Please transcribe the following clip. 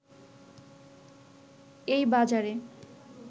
এই বাজারে